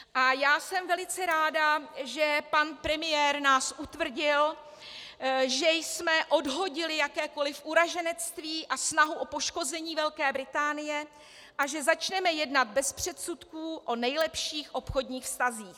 A já jsem velice ráda, že pan premiér nás utvrdil, že jsme odhodili jakékoliv uraženectví a snahu o poškození Velké Británie a že začneme jednat bez předsudků o nejlepších obchodních vztazích.